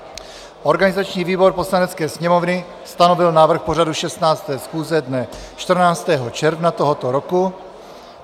Organizační výbor Poslanecké sněmovny stanovil návrh pořadu 16. schůze dne 14. června tohoto roku.